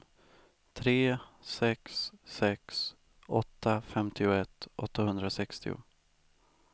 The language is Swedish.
tre sex sex åtta femtioett åttahundrasextio